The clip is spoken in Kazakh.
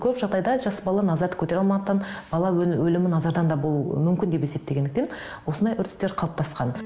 көп жағдайда жас бала назарды көтере алмағандықтан бала өлімі назардан да болуы мүмкін деп есептегендіктен осындай үрдістер қалыптасқан